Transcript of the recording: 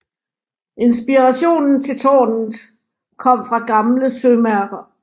Inspirationen til tårnet kom fra gamle sømærker